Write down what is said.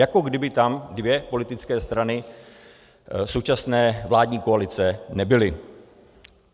Jako kdyby tam dvě politické strany současné vládní koalice nebyly.